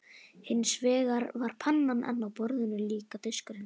Hins vegar var pannan enn á borðinu og líka diskurinn.